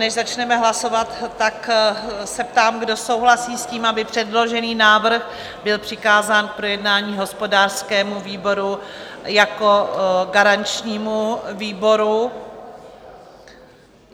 Než začneme hlasovat, tak se ptám, kdo souhlasí s tím, aby předložený návrh byl přikázán k projednání hospodářskému výboru jako garančnímu výboru?